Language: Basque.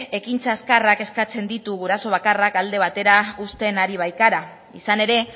ekintza azkarrak eskatzen ditu guraso bakarrak alde batera uzten ari baikara izan ere